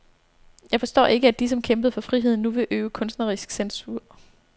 Jeg forstår ikke, at de som kæmpede for friheden nu vil øve kunstnerisk censur.